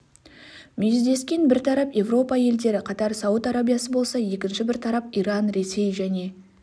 мүйіздескен бір тарап еуропа елдері катар сауд арабиясы болса екінші бір тарап иран ресей және